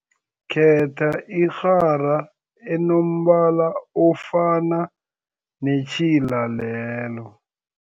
Khetha irhara enombala ofana netjhila lelo.